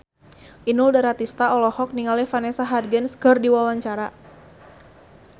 Inul Daratista olohok ningali Vanessa Hudgens keur diwawancara